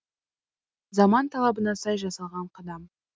заман талабына сай жасалған қадам